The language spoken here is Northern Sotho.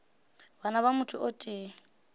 bana ba motho o tee